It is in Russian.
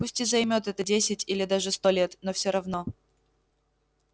пусть и займёт это десять или даже сто лет но все равно